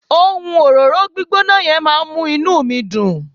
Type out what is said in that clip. ohun òróró gbígbóná yen ma n mu inú mi Dun